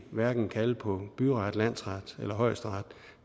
hverken kalde på byret landsret eller højesteret